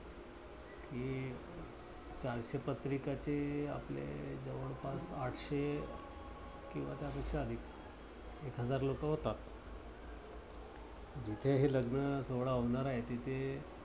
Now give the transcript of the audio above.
चारशे पत्रिकाचे आपले जवळपास आठशे किंवा त्यापेक्षा अधिक एक हजार लोकं होतात. जिथे हे लग्न सोहळा होणार आहे तिथे